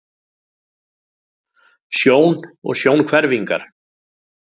Sjón og sjónhverfingar.